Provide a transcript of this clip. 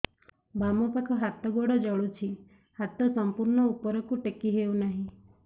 ବାମପାଖ ହାତ ଗୋଡ଼ ଜଳୁଛି ହାତ ସଂପୂର୍ଣ୍ଣ ଉପରକୁ ଟେକି ହେଉନାହିଁ